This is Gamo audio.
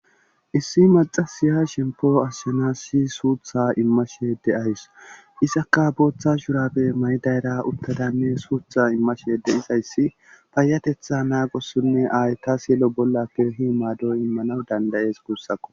Issi maxasiya shempo ashshenas si suutha immasheede ahys isakka booththa shurapbe may' dayra uttadanne suutha immasheede izayssi payatetha naagossunne ayta sillo bollapkehi maado immanaw dandayees guussakko.